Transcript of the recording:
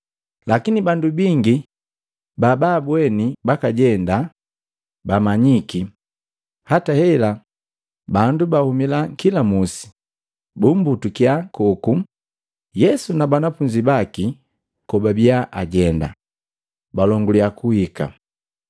Lakini bandu bingi, babaabweni bakajenda, bamanyiki, hata hela bandu babahumila kila musi, bumbutukya koku Yesu na banafunzi baki kobabia ajenda, balonguliya kuhika.